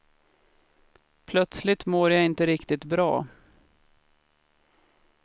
Plötsligt mår jag inte riktigt bra.